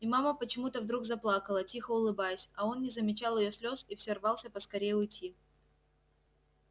и мама почему то вдруг заплакала тихо улыбаясь а он не замечал её слез и все рвался поскорее уйти